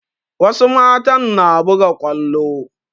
Wasu matan na buga kwallo